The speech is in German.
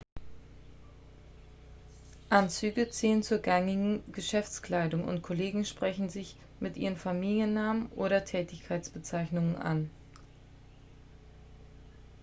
anzüge zählen zur gängigen geschäftskleidung und kollegen sprechen sich mit ihren familiennamen oder tätigkeitsbezeichnungen an